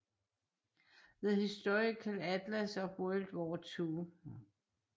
The Historical Atlas of World War II